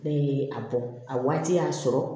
Ne ye a bɔ a waati y'a sɔrɔ